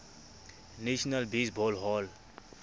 national baseball hall